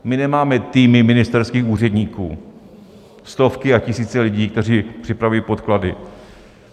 My nemáme týmy ministerských úředníků, stovky a tisíce lidí, kteří připravují podklady.